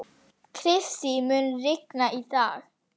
Kristý, mun rigna í dag?